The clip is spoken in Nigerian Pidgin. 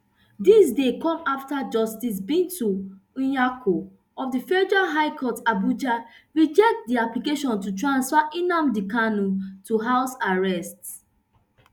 dis dey come afta justice binta nyako of di federal high court abuja reject di application to transfer nnamdi kanu to house arrest